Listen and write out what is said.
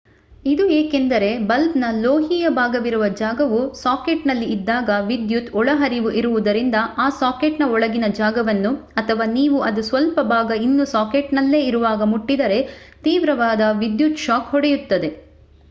ಇದು ಏಕೆಂದರೆ ಬಲ್ಬ್ ನ ಲೋಹೀಯ ಭಾಗವಿರುವ ಜಾಗವು ಸಾಕೆಟ್ನಲ್ಲಿ ಇದ್ದಾಗ ವಿದ್ಯುತ್ ಒಳಹರಿವು ಇರುವುದರಿಂದ ಆ ಸಾಕೆಟ್ನ ಒಳಗಿನ ಜಾಗವನ್ನು ಅಥವಾ ನೀವು ಅದು ಸ್ವಲ್ಪ ಭಾಗ ಇನ್ನೂ ಸಾಕೆಟ್ನಲ್ಲೆ ಇರುವಾಗ ಮುಟ್ಟಿದರೆ ತೀವ್ರವಾದ ವಿದ್ಯುತ್ ಶಾಕ್ ಹೊಡೆಯುತ್ತದೆ